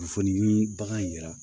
Kunnafoni nii bagan yira